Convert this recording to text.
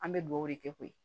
An bɛ dugawu de kɛ koyi